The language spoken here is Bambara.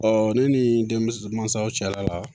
ne ni denmisɛn mansaw cɛla la